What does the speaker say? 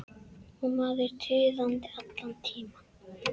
Og maður tuðandi allan tímann.